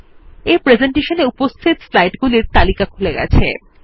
এই প্রেসেন্টেশনে উপস্থিত স্লাইডগুলির তালিকা খুলে গেছে